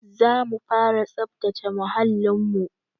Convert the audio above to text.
Zamu fara tsabtace muhalin mu